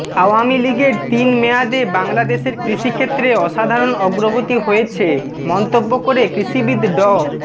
আওয়ামী লীগের তিন মেয়াদে বাংলাদেশের কৃষিক্ষেত্রে অসাধারণ অগ্রগতি হয়েছে মন্তব্য করে কৃষিবিদ ড